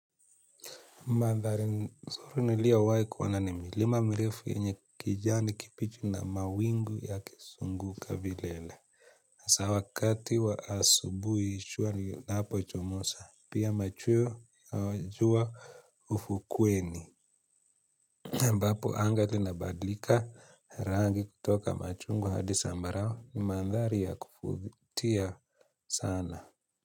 Mandhari suri niliowai kuona ni milima mirefu yenye kijani kipichu na mawingu yakisunguka vilele. Sa wakati wa asubui shua linapochomosa, pia machweo jua ufukweni. Ambapo anga linabadlika rangi kutoka machungwa hadi sambarao ni mandhari ya kufutia sana.